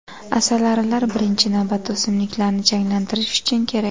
Asalarilar birinchi navbatda o‘simliklarni changlantirish uchun kerak.